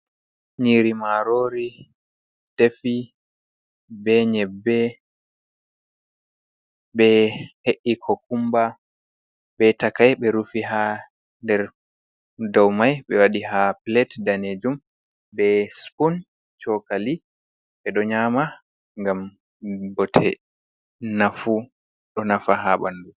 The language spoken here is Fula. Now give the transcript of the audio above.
Nyiri maarori defi be nyebbe. Ɓe he’i kokumba be takai, ɓe rufi haa nder dou mai, ɓe waɗi haa plate danejum, be spun cokali. Ɓe ɗo nyama ngam bote, vnafu, ɗo nafa haa ɓandu.